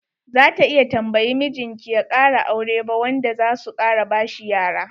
Za ta iya tambayi mijin ki ya kara aure ba wanda zasu kara bashi yara.